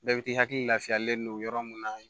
Bɛɛ bɛ k'i hakili lafiyalen don yɔrɔ min na